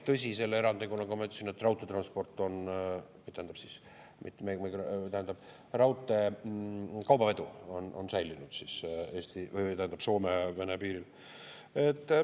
Tõsi, selle erandiga, nagu ma ütlesin, et raudtee kaubavedu on säilinud Soome-Vene piiril.